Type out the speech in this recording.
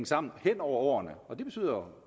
sammen hen over årene og det betyder